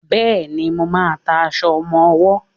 Bẹ́ẹ̀ni, mo máà ń ta aṣọ ọmọwọ́.